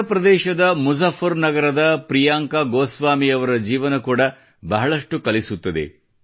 ಉತ್ತರ ಪ್ರದೇಶದ ಮುಜಫರ್ ನಗರದ ಪ್ರಿಯಾಂಕಾ ಗೋಸ್ವಾಮಿಯವರ ಜೀವನ ಕೂಡ ಬಹಳಷ್ಟು ಕಲಿಸುತ್ತದೆ